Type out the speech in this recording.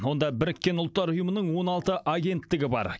онда біріккен ұлттар ұйымының он алты агенттігі бар